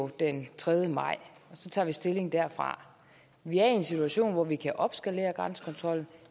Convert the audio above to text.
den tredje maj så tager vi stilling derfra vi er i en situation hvor vi kan opskalere grænsekontrollen